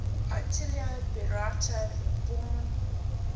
attilio bertolucci born